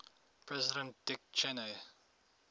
president dick cheney